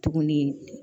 Tuguni